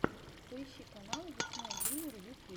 поищи каналы диснея джуниор ю кей